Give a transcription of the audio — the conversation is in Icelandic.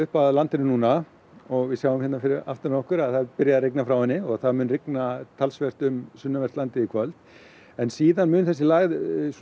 upp að landinu núna og við sjáum hérna fyrir aftan okkur að það er byrjað að rigna frá henni og það mun rigna talsvert um sunnanvert landið í kvöld en síðan mun þessi lægð